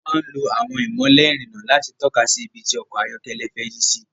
A máa ń lo àwọn ìmọ́lẹ̀ ìrìnnà láti tọ́ka sí ibi tí ọkọ̀ ayọ́kẹ́lẹ́ fẹ́ yí sì